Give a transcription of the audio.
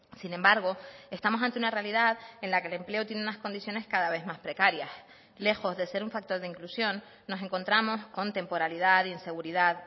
sin embargo estamos ante una realidad en la que el empleo tiene unas condiciones cada vez más precarias lejos de ser un factor de inclusión nos encontramos con temporalidad inseguridad